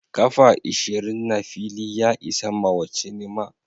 kafa ishirin na fili ya isa mawa cinema.